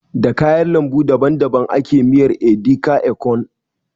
Da kayar lambu daban daban ake miyar edi ka, ekong